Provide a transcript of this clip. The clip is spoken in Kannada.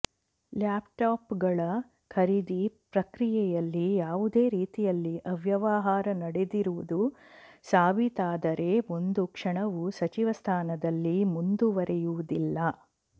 ಲ್ಯಾಪ್ಟಾಪ್ಗಳ ಖರೀದಿ ಪ್ರಕ್ರಿಯೆಯಲ್ಲಿ ಯಾವುದೇ ರೀತಿಯಲ್ಲಿ ಅವ್ಯವಹಾರ ನಡೆದಿರುವುದು ಸಾಬೀತಾದರೆ ಒಂದು ಕ್ಷಣವೂ ಸಚಿವ ಸ್ಥಾನದಲ್ಲಿ ಮುಂದುವರೆಯುವುದಿಲ್ಲ